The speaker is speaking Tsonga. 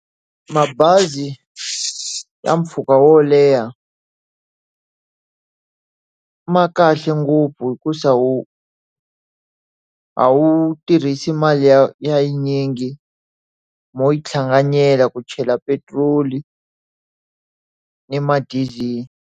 Mabazi ya mpfhuka wo leha ma kahle ngopfu hikuva a wu tirhisi mali yi yingi. Mo yi hlanganyela ku chela petiroli ni ma-diesel.